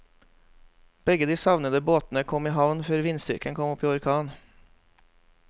Begge de savnede båtene kom i havn før vindstyrken kom opp i orkan.